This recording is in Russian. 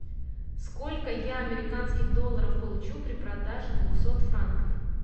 сколько я американских долларов получу при продаже двухсот франков